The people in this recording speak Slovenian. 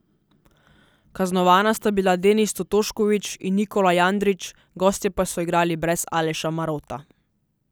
Kaznovana sta bila Denis Totošković in Nikola Jandrić, gostje pa so igrali brez Aleša Marota.